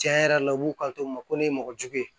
Tiɲɛ yɛrɛ la u b'u kanto u ma ko ne ye mɔgɔ jugu ye